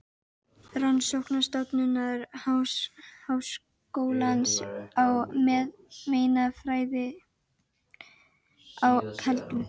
Rannsóknastofnunar Háskólans í meinafræði á Keldum.